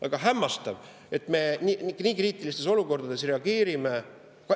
Aga hämmastav, kuidas me nii kriitilistes olukordades reageerime.